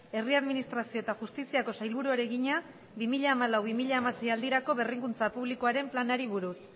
herri administrazio eta justiziako sailburuari egina bi mila hamalau bi mila hamasei aldirako berrikuntza publikoaren planari buruz